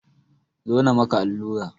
Zo na maka allura!